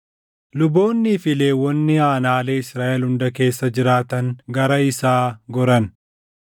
Luboonnii fi Lewwonni aanaalee Israaʼel hunda keessa jiraatan gara isaa goran.